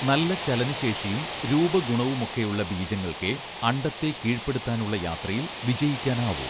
നല്ല ചലനശേഷിയും രൂപഗുണവുമൊക്കെയുള്ള ബീജങ്ങൾക്കേ അണ്ഡത്തെ കീഴ്പ്പടുത്താനുള്ള യാത്രയിൽ വിജയിക്കാനാവൂ